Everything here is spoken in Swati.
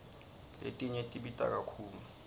letinye tibita kakhulu